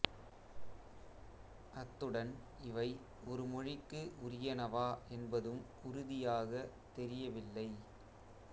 அத்துடன் இவை ஒரு மொழிக்கு உரியனவா என்பதும் உறுதியாகத் தெரியவில்லை